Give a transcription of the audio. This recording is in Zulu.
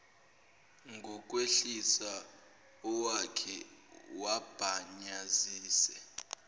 ngokwehlisa awakhe wabhanyazise